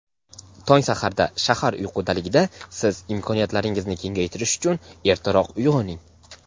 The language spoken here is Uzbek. tong saharda shahar uyqudaligida siz imkoniyatlaringizni kengaytirish uchun ertaroq uyg‘oning.